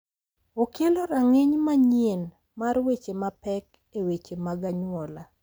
Okelo rang’iny manyien mar weche mapek e weche mag anyuola,